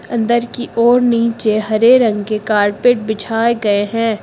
अंदर की और नीचे हरे रंग के कारपेट बिछाए गए हैं।